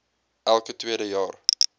elke tweede jaar